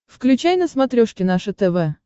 включай на смотрешке наше тв